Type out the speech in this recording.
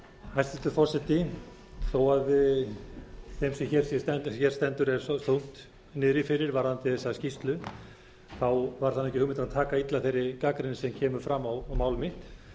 hæstvirtur forseti þó að þeim sem hér stendur sé þungt niðri fyrir varðandi þessa skýrslu var það ekki hugmyndin að taka illa þeirri gagnrýni sem kemur fram á mál mitt